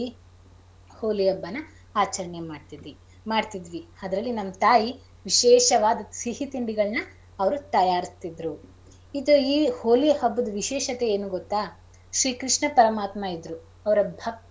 ಹೋಳಿ ಹಬ್ಬನಾ ಆಚರಣೆ ಮಾಡ್ತಿ~ ಮಾಡ್ತಿದ್ವಿ ಅದ್ರಲ್ಲಿ ನಮ್ ತಾಯಿ ವಿಶೇಷವಾದ್ ಸಿಹಿ ತಿಂಡಿಗಳ್ನ ಅವ್ರು ತಯಾರ್ಸ್ತಿದ್ರು. ಇದು ಈ ಹೋಳಿ ಹಬ್ಬದ್ ವಿಶೇಷತೆ ಏನು ಗೊತ್ತ ಶ್ರೀ ಕೃಷ್ಣ ಪರಮಾತ್ಮ ಇದ್ರು ಅವರ ಭಕ್ತ,